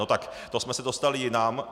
No tak to jsme se dostali jinam.